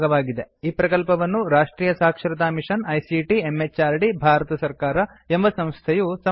ಈ ಪ್ರಕಲ್ಪವನ್ನು ರಾಷ್ಟ್ರಿಯ ಸಾಕ್ಷರತಾ ಮಿಷನ್ ಐಸಿಟಿ ಎಂಎಚಆರ್ಡಿ ಭಾರತ ಸರ್ಕಾರ ಎಂಬ ಸಂಸ್ಥೆಯು ಸಮರ್ಥಿಸಿದೆ